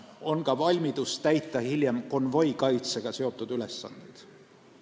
On ka valmidus täita hiljem konvoikaitsega seotud ülesandeid.